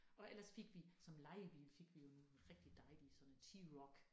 Og ellers fik vi som lejebil fik jo en rigtig dejlig sådan en T-Roc